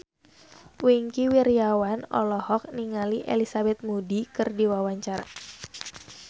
Wingky Wiryawan olohok ningali Elizabeth Moody keur diwawancara